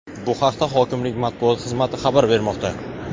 Bu haqda hokimlik Matbuot xizmati xabar bermoqda.